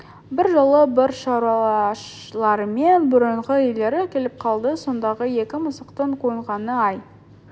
бір жолы бір шаруаларымен бұрынғы иелері келіп қалды сондағы екі мысықтың қуанғаны-ай